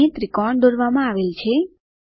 અહીં ત્રિકોણ દોરવામાં આવેલ છે